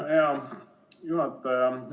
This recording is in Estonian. Hea juhataja!